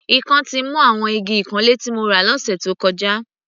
Ikán ti mu àwọn igi ìkanlé tí mo rà lọ́sẹ̀ tó kọjá.